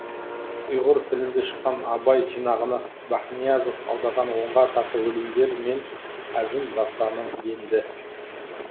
ұйғыр тілінде шыққан абай жинағына бәхниязов аударған онға тарта өлеңдер мен әзім дастаны енді